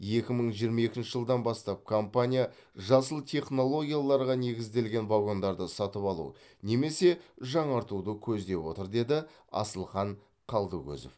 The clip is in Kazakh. екі мың жиырма екінші жылдан бастап компания жасыл технологияларға негізделген вагондарды сатып алу немесе жаңартуды көздеп отыр деді асылхан қалдыкозов